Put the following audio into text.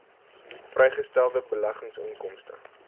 vrygestelde beleggingsinkomste